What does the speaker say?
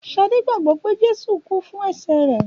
Ṣadé gbàgbọ́ pè Jésù kú fún ẹ̀ṣẹ̀ rẹ̀.